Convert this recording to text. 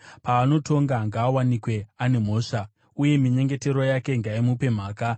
Paanotongwa, ngaawanikwe ane mhosva, uye minyengetero yake ngaimupe mhaka.